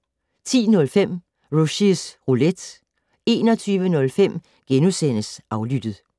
10:05: Rushys Roulette 21:05: Aflyttet *